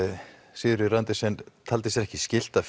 Sigríður Andersen taldi sig ekki skylt að